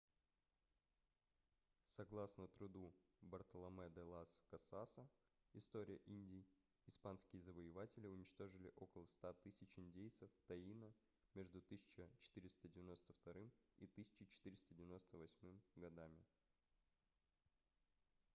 согласно труду бартоломе де лас касаса история индий испанские завоеватели уничтожили около 100 000 индейцев таино между 1492 и 1498 годами